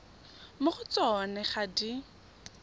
mo go tsona ga di